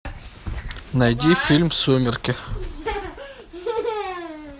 найди фильм сумерки